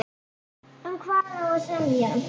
Um hvað á að semja?